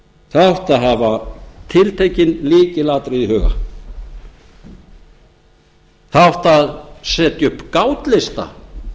það átti að hafa tiltekin lykilatriði í huga það átti að setja upp gátlista